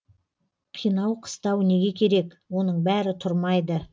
қинау қыстау неге керек оның бәрі тұрмайды